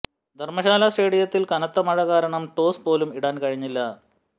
ധര്മ്മശാല സ്റ്റേഡിയത്തിൽ കനത്ത മഴ കാരണം ടോസ് പോലും ഇടാൻ കഴിഞ്ഞില്ല